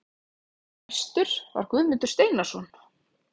Gestur var Guðmundur Steinarsson.